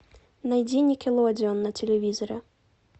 найди никелодеон на телевизоре